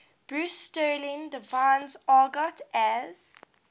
bruce sterling defines argot as